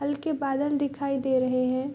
हल्के बादल दिखाई दे रहे है ।